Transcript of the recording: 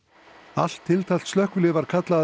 allt tiltækt slökkvilið var kallað